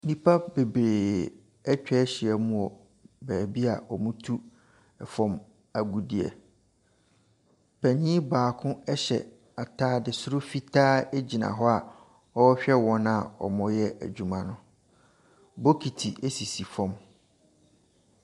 Nnipa bebree atwa ahyia mu wɔ baabi a wɔtu fam agudeɛ. Panin baako hyɛ atade soro fitaa gyina hɔ a ɔrehwɛ wɔn a wɔreyɛ adwuma no. Bokiti sisi fam.